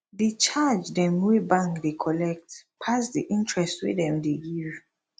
di charge dem wey bank dey collect pass di interest wey dem dey give